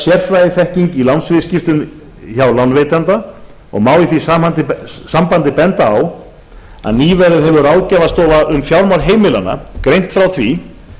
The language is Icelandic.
sérfræðiþekking í lánsviðskiptum hjá lánveitanda og má í því sambandi benda á að nýverið hefur ráðgjafarstofa um fjármál heimilanna greint frá því